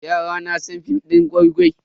Yara na san film din gwai-gwai.